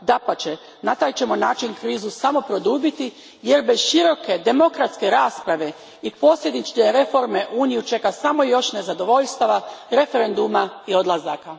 Dapače, na taj ćemo način krizu samo produbiti jer bez široke demokratske rasprave i posljedične reforme Uniju čeka samo još nezadovoljstva, referenduma i odlazaka.